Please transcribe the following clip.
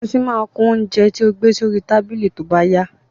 Eṣinṣin máa kún oúnjẹ tí ó gbé sí orí tábìlì tóbá yá